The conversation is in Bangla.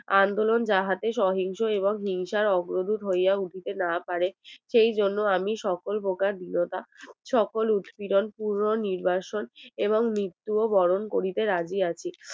আন্দোলন যাহাতে সহিংস এবং হিংসার অগ্রদূত হইয়া উঠিতে না পারে সেই জন্য আমি সকল প্রকার দৃঢ়তা সকল উৎপীড়ণ পুনর নির্বাসন এবং মৃত্যু বরণ করিতে রাজি আছি